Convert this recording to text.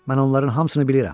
Mən onların hamısını bilirəm.